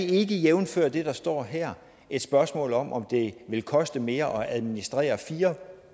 ikke jævnfør det der står her et spørgsmål om om det vil koste mere at administrere fire